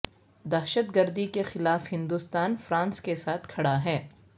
دہشت گردی کے خلاف ہندوستان فرانس کیساتھ کھڑا ہے